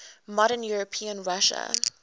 modern european russia